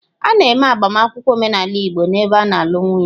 A na-eme agbamakwụkwọ omenala igbo n'ebe a na-alụ nwunye.